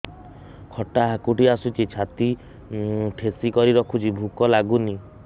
ଖଟା ହାକୁଟି ଆସୁଛି ଛାତି ଠେସିକରି ରଖୁଛି ଭୁକ ଲାଗୁନି